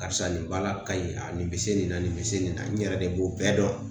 Karisa nin baara ka ɲi. A nin be se nin na nin be se nin na n yɛrɛ de b'o bɛɛ dɔn.